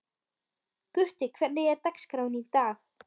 Gutti, hvernig er dagskráin í dag?